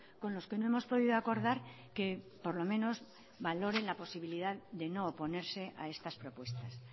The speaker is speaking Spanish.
con los que no hemos podido acordar que por lo menos valoren la posibilidad de no oponerse a estas propuestas